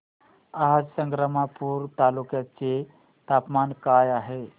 आज संग्रामपूर तालुक्या चे तापमान काय आहे